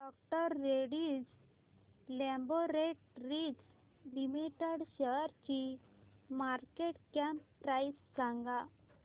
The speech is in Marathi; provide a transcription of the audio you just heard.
डॉ रेड्डीज लॅबोरेटरीज लिमिटेड शेअरची मार्केट कॅप प्राइस सांगा